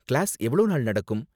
Class எவ்ளோ நாள் நடக்கும்?